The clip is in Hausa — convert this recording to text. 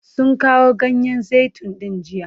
Sun kawo ganyen zaitun din jiya?